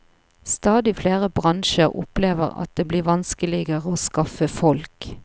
Stadig flere bransjer opplever at det blir vanskeligere å skaffe folk.